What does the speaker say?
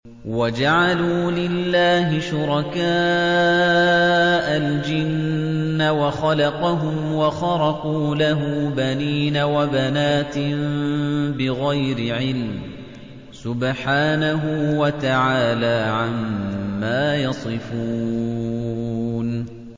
وَجَعَلُوا لِلَّهِ شُرَكَاءَ الْجِنَّ وَخَلَقَهُمْ ۖ وَخَرَقُوا لَهُ بَنِينَ وَبَنَاتٍ بِغَيْرِ عِلْمٍ ۚ سُبْحَانَهُ وَتَعَالَىٰ عَمَّا يَصِفُونَ